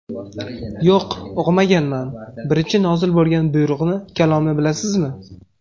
Yo‘q, o‘qimaganman... Birinchi nozil bo‘lgan buyruqni, kalomni bilasizmi?